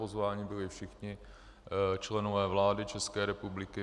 Pozváni byli všichni členové vlády České republiky.